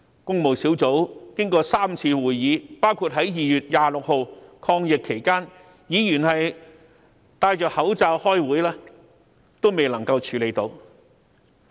工務小組委員會經過3次會議，包括在2月26日抗疫期間，議員戴上口罩開會亦未能完成審議。